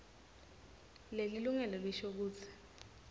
lelilungelo lisho kutsi